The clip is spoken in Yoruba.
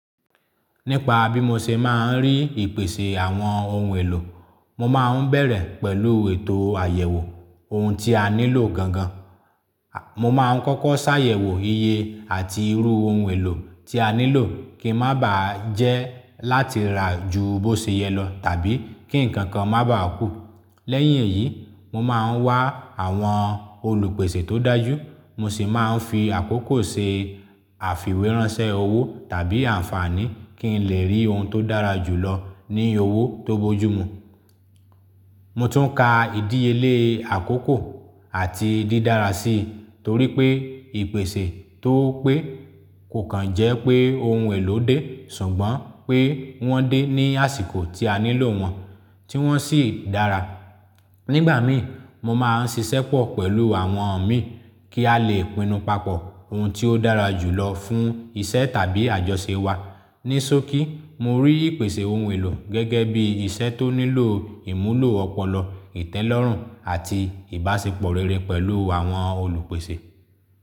Nípa bí mo ṣe máa ń rí ìpèsè àwọn ohun èlò, mo máa ń bẹ̀rẹ̀ pẹ̀lú ètò àyẹ̀wò ohun tí a nílò gangan. Mo máa ń kọ́kọ́ ṣàyẹ̀wò iye àti irú ohun èlò tí a nílò kí má bàá jẹ́ láti rà ju bó ṣe yẹ lọ tàbí kí ǹkan kan má bàá kú. Lẹ́yìn èyí, mo máa ń wá àwọn olùpèsè tó dájú, mo sì máa ń fi àkókò ṣe àfìwéránsẹ́ owó tàbí àǹfààní kí n lè rí ohun tó dára jù lọ ní owó tó bojumu. Mo tún ka ìdíyelée àkókò àti dídára sí, torí pé ìpèsè tóo pé kò kan jẹ́ pé ohun èlò dé, ṣùgbọ́n pé wọ́n dé ní àsìkò tí a nílò wọn, tí wọ́n sì dára. Nígbà mí, mo máa ń ṣiṣẹ́pọ̀ pẹ̀lú àwọn mi kí a lè pinnu papọ̀ ohun tí ó dára jù lọ fún iṣẹ́ tàbí àjọṣe wa. Ní sòkí, mo rí ìpèsè ohun èlò gẹ́gẹ́ bí iṣẹ́ tó nílò ìmúlò ọpọlọ, ìtẹ́lọ́rùn àti ìbáṣepọ̀ rere pẹ̀lú àwọn olùpèsè.